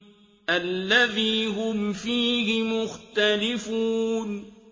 الَّذِي هُمْ فِيهِ مُخْتَلِفُونَ